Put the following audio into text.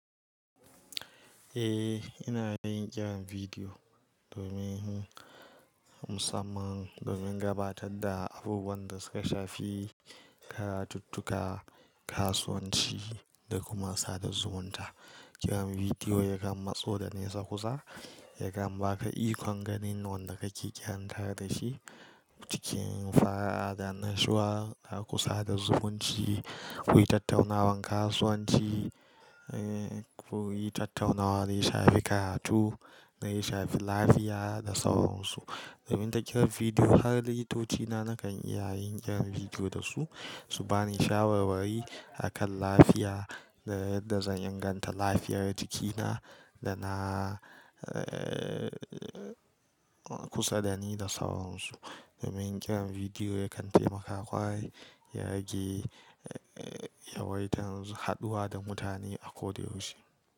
Eh, ina yin kiran bidiyo domin musamman domin gabatar da abubuwan da suka shafi karatuttuka, kasuwanci da kuma sada zumunta. Kiran bidiyo yakan matso da nesa kusa, yakan ba ka ikon ganin wanda kake kiranka da shi. Cikin fara'a da annashiwa a kusa da zumunci, kuyi tattaunawan kasuwanci, kuyi tattaunawar daya shafi karatu, daya shafi lafiya da sauransu. Domin ta kiran bidiyo har likitoci na nakan iya yin kiran bidiyo da su, su bani shawarwari akan lafiya da yadda zan inganta lafiyar jikina da na kusa da ni da sauransu. Domin kiran bidiyo yakan taimaka ƙwarai ya rage yawaitar haɗuwa da mutane a ko da yaushe.